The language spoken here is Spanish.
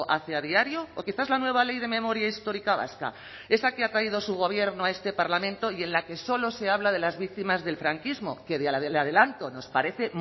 hace a diario o quizás la nueva ley de memoria histórica vasca esa que ha traído su gobierno a este parlamento y en la que solo se habla de las víctimas del franquismo que ya le adelanto nos parece